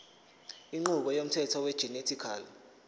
inqubo yomthetho wegenetically